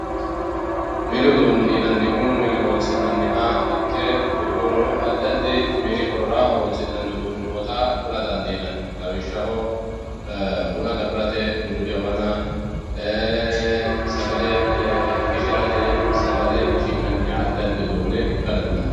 mini uduune yinannihu mine horonsi'naniha ikke kuri"uuni addi addi mini horora horonsi'nanni uduuni noota kula dandiinanni lawishshaho buna gafirate bunu jawana sagale qishirate sagale qishi'nanniha addiaddi uduune ikka dandaao